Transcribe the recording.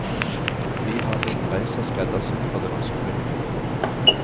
Vi har rundreiser skreddersydd for det norske publikum.